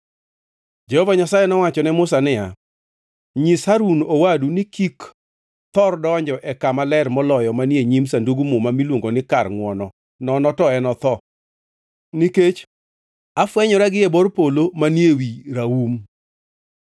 Jehova Nyasaye nowacho ne Musa niya, “Nyis Harun owadu ni kik thor donjo e Kama Ler Moloyo manie nyim Sandug Muma miluongo ni kar ngʼwono, nono to enotho, nikech afwenyora gi e bor polo manie ewi raum.